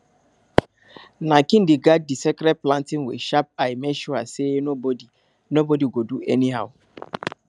na king dey guard di sacred planting with sharp eye make sure say nobody nobody go do anyhow